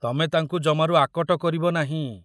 ତମେ ତାଙ୍କୁ ଜମାରୁ ଆକଟ କରିବ ନାହିଁ।